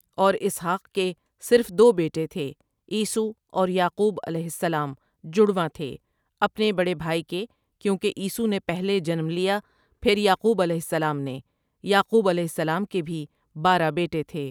اور اسحاق کے صرف دو بیٹے تھے عیسو اور یعقوب علیہ سلام جڑوا تھے اپنے بڑے بھائی کے کیونکہ عیسو نے پہلے جنم لیا پھر یعقوب علیہ سلام نے یعقوب علیہ سلام کے بھی بارہ بیٹے تھے ۔